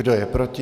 Kdo je proti?